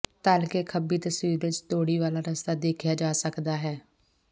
ਤਲ ਕੇ ਖੱਬੀ ਤਸਵੀਰ ਵਿਚ ਤੌੜੀ ਵਾਲਾ ਰਸਤਾ ਦੇਖਿਆ ਜਾ ਸਕਦਾ ਹੈ